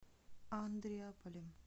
андреаполем